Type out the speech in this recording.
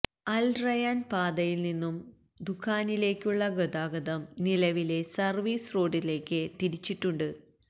അല് Rayyan പാതയില്നിന്നും ദുഖാനിലേക്കുള്ള ഗതാഗതം നിലവിലെ സര്വീസ് റോഡിലേക്ക് തിരിച്ചിട്ടുണ്ട്